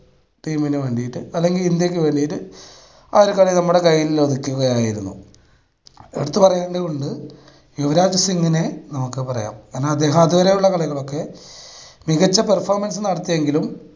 team ന് വേണ്ടിയിട്ട് അല്ലെങ്കിൽ ഇന്ത്യക്ക് വേണ്ടിയിട്ട് ആ ഒരു കളി നമ്മുടെ കയ്യിൽ ഒതുക്കുകയായിരിന്നു. എടുത്ത് പറയേണ്ടതുണ്ട് യുവരാജ് സിംഗിനെ നമുക്ക് പറയാം കാരണം അദ്ദേഹം അതുപോലുള്ള കളികളൊക്കെ മികച്ച performance നടത്തിയെങ്കിലും